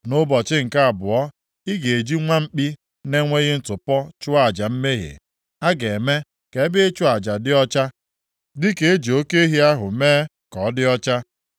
“Nʼụbọchị nke abụọ, ị ga-eji nwa mkpi na-enweghị ntụpọ chụọ aja mmehie. + 43:22 Nwa mkpi zuruoke bụ nke na-enweghị ntụpọ, nke ọrịa na-adịghị arịa, nke ọnya na-adịghị nʼahụ ya, na nke na-enweghịkwa apa. A ga-eme ka ebe ịchụ aja dị ọcha, dịka e ji oke ehi ahụ mee ka ọ dị ọcha.